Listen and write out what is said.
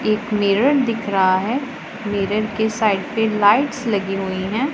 एक मिरर दिख रहा है मिरर के साइड पे लाइट्स लगी हुई हैं।